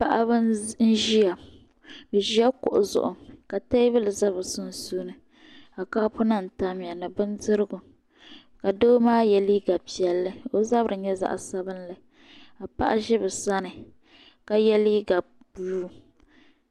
Paɣaba n ʒiya bi ʒi la kuɣu zuɣu ka teebuli za bi sunsuuni ka kaapu nima tam ya ni bindirigu ka doo maa yɛ liiga piɛlli ka o zabiri nyɛ zaɣa sabinli ka paɣa ʒi bi sani ka yɛ liiga buluu.